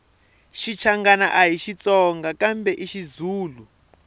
xichangani ahi xitsonga kambe xizulu